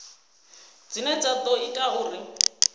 dzine dza ḓo ita uri